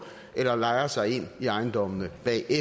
eller lejer sig ind i ejendommene